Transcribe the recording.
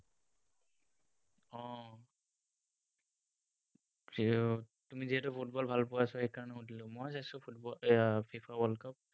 তুমি যিহেতু football ভাল পোৱা, so সেইকাৰণে সুধিলো। মই চাইছো football, FIFA world cup